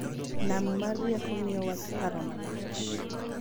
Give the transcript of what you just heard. Nam mar rieko miyowa paro malach